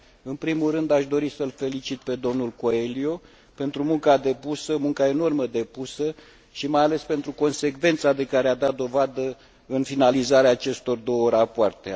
În primul rând, aș dori să l felicit pe domnul Coelho pentru munca enormă depusă și, mai ales, pentru consecvența de care a dat dovadă în finalizarea acestor două rapoarte.